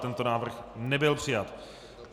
Tento návrh nebyl přijat.